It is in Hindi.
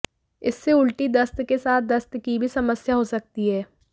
इससे उल्टी दस्त के साथ दस्त की भी समस्या हो सकती है